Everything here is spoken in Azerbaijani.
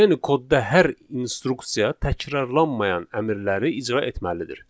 Yəni kodda hər instruksiya təkrarlanmayan əmrləri icra etməlidir.